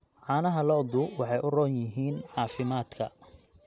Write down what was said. Caanaha lo'du waxay u roon yihiin caafimaadka.